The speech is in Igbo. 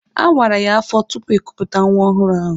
A wara ya afọ tupu ekupụta nwa ọhụrụ ahụ.